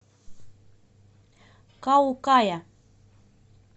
каукая